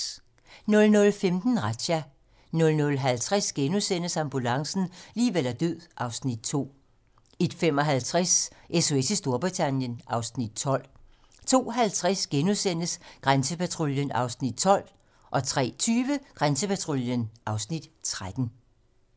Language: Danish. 00:15: Razzia 00:50: Ambulancen - liv eller død (Afs. 2)* 01:55: SOS i Storbritannien (Afs. 12) 02:50: Grænsepatruljen (Afs. 12)* 03:20: Grænsepatruljen (Afs. 13)